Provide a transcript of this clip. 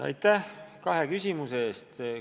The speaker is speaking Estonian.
Aitäh kahe küsimuse eest!